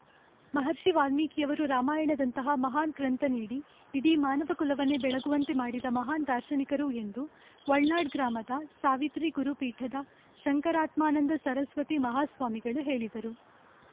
ಮಹರ್ಷಿ ವಾಲ್ಮೀಕಿಯವರು ರಾಮಾಯಣದಂತಹ ಮಹಾನ್‌ ಗ್ರಂಥ ನೀಡಿ ಇಡೀ ಮಾನವ ಕುಲವನ್ನೆ ಬೆಳಗುವಂತೆ ಮಾಡಿದ ಮಹಾನ್‌ ದಾರ್ಶನಿಕರು ಎಂದು ವಡ್ನಾಳ್‌ ಗ್ರಾಮದ ಸಾವಿತ್ರಿ ಗುರು ಪೀಠದ ಶಂಕರಾತ್ಮನಂದ ಸರಸ್ವತಿ ಮಹಾ ಸ್ವಾಮಿಗಳು ಹೇಳಿದರು